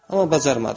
Amma bacarmadı.